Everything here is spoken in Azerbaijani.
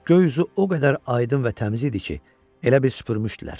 Göy üzü o qədər aydın və təmiz idi ki, elə bil süpürmüşdülər.